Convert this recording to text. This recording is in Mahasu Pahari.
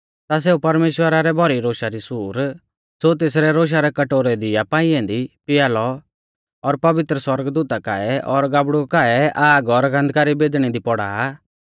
ता सेऊ परमेश्‍वरा रै भौरी रोशा री सूर ज़ो तेसरै रोशा रै कटोरै दी आ पाई ऐन्दी पिया लौ और पवित्र सौरगदूता काऐ और गाबड़ु काऐ आग और गन्धका री बैदणी दी पौड़ा आ